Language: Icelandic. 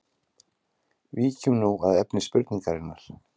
Víkjum nú að efni spurningarinnar.